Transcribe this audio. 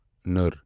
نٔر